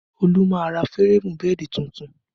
Olu máa ra férémù bẹ́ẹ̀dì tuntun